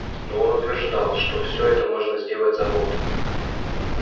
но он утверждал что всё это можно сделать за год